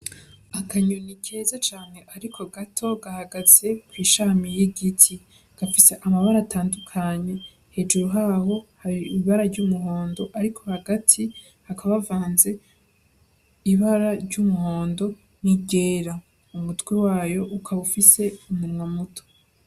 Akanyoni keza cane ariko gato gahagaze kwishami y'igiti, gafise amabara atandukanye hejuru haho hari ibara ry'umuhondo ariko hagati hakaba havanze ibara ry'umuhondo n'iryera umutwe wayo ukaba ufise umunwa muto.